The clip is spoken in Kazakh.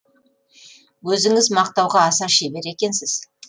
өзіңіз мақтауға аса шебер екенсіз